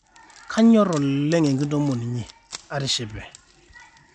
kanyor oleng ekitoomon inyi atishipe